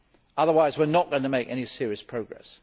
Otherwise we are not going to make any serious progress.